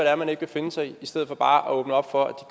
er man ikke vil finde sig i i stedet for bare at åbne op for at